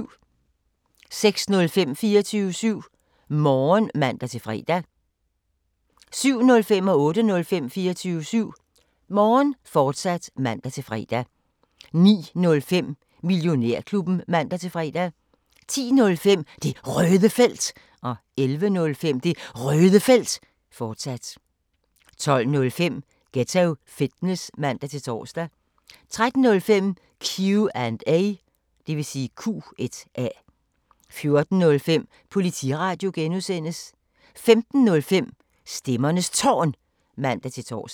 06:05: 24syv Morgen (man-fre) 07:05: 24syv Morgen, fortsat (man-fre) 08:05: 24syv Morgen, fortsat (man-fre) 09:05: Millionærklubben (man-fre) 10:05: Det Røde Felt 11:05: Det Røde Felt, fortsat 12:05: Ghetto Fitness (man-tor) 13:05: Q&A 14:05: Politiradio (G) 15:05: Stemmernes Tårn (man-tor)